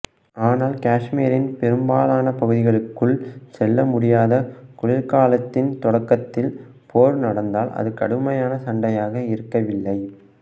ஆனால் காஷ்மீரின் பெரும்பாலான பகுதிகளுக்குள் செல்ல முடியாத குளிர்காலத்தின் தொடக்கத்தில் போர் நடந்ததால் அது கடுமையான சண்டையாக இருக்கவில்லை